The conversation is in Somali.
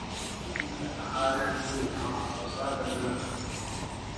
Xoojinta Dhaqaalaha Guriga: Wax-soo-saarka Dalagga.